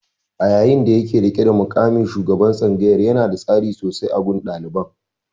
A yayin da yake riƙe da muƙamin shugaban tsangayar, yanada tasiri sosai a gun ɗaliban.